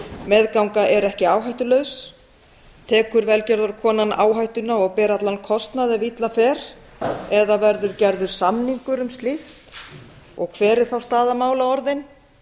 meðganga er ekki áhættulaus tekur velgjörðarkonan áhættuna og ber allan kostnað ef illa fer eða verður gerður samningur um slíkt hver er þá staða mála orðin